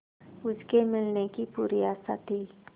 उसके मिलने की पूरी आशा थी